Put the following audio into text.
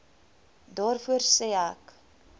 daarvoor sê ek